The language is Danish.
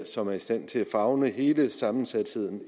som er i stand til at favne hele den sammensatte